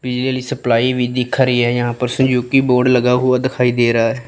बिजली सप्लाई भी दिखा रही यहां पर बोर्ड लगा हुआ दिखाई दे रहा--